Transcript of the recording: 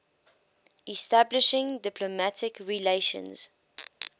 establishing diplomatic relations